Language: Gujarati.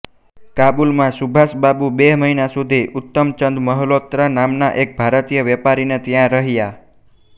કાબુલમાં સુભાષબાબુ બે મહિના સુધી ઉત્તમચંદ મલ્હોત્રા નામના એક ભારતીય વેપારીને ત્યાં રહયા